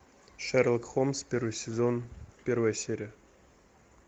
шерлок холмс первый сезон первая серия